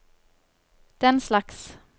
denslags